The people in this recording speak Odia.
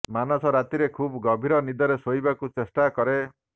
ମାନସ ରାତିରେ ଖୁବ୍ ଗଭୀର ନିଦରେ ଶୋଇବାକୁ ଚେଷ୍ଟା କରେ